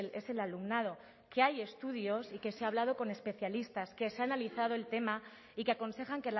es el alumnado que hay estudios y que se ha hablado con especialistas que se ha analizado el tema y que aconsejan